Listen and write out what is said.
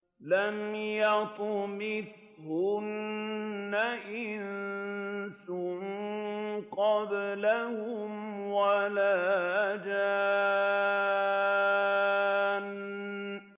لَمْ يَطْمِثْهُنَّ إِنسٌ قَبْلَهُمْ وَلَا جَانٌّ